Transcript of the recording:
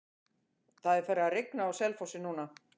Það er farið að rigna á Selfossi núna.